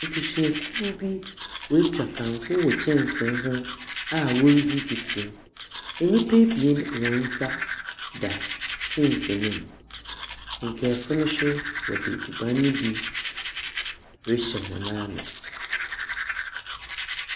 Abusuakuw bi woetwa kanko wɔ kyɛnse ho a woridzidzi fi mu. Nyimpa ebie hɔn nsa da kyɛnse no mu, nkaafo no so dze edziban no bi rehyɛ hɔn ano.